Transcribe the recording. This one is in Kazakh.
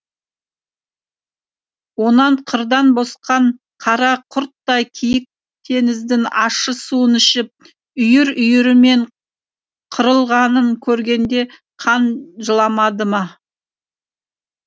онан қырдан босқан қара құрттай киік теңіздің ащы суын ішіп үйір үйірімен қырылғанын көргенде қан жыламады ма